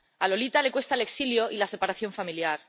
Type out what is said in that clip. A Lolita le cuesta al exilio y la separación familiar.